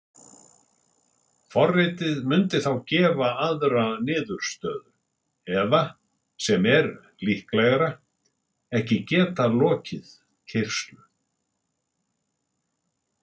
Forritið mundi þá gefa aðra niðurstöðu eða, sem er líklegra, ekki geta lokið keyrslu.